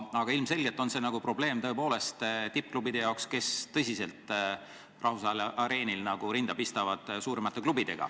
Aga ilmselgelt jääb probleem püsima tippklubide jaoks, kes suuremate klubidega rahvusvahelisel areenil tõsiselt rinda pistavad.